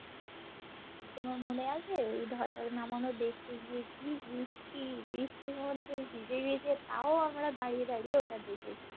তোমার মনে আছে ওই ধ্বজা নামানো দেখতে গিয়ে কি বৃষ্টি বৃষ্টির মধ্যে ভিজে গেছি তও আমরা দাঁড়িয়ে দাঁড়িয়ে ওটা দেখেছি